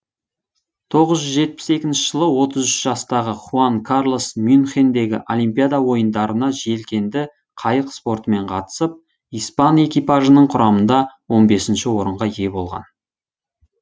тоғыз жүз жетпіс үшінші жылы отыз үш жастағы хуан карлос мюнхендегі олимпиада ойындарына желкенді қайық спортымен қатысып испан экипажының құрамында он бесінші орынға ие болған